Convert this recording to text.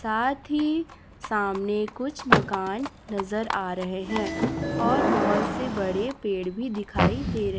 साथ ही सामने कुछ मकान नजर आ रहे हैं और बहोत से बड़े पेड़ भी दिखाई दे रहे--